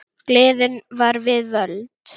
Gleðin var við völd.